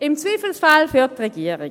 Im Zweifelsfall für die Regierung.